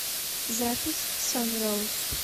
запись санроуз